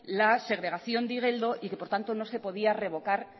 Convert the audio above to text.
la segregación de igeldo y que por lo tanto no se podía revocar